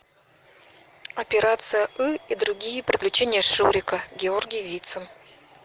операция ы и другие приключения шурика георгий вицин